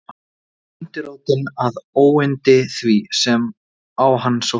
Þetta var undirrótin að óyndi því, sem á hann sótti.